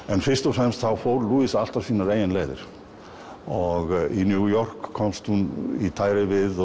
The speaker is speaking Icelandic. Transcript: en fyrst og fremst fór alltaf sínar eigin leiðir og í New York komst hún í tæri við